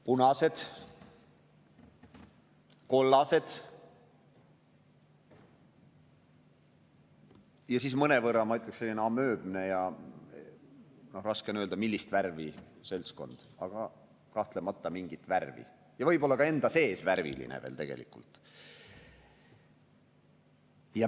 Punased, kollased ja siis mõnevõrra, ma ütleksin, amööbne ja raske on öelda, millist värvi, aga kahtlemata mingit värvi seltskond, kes tegelikult on võib-olla ka enda sees värviline.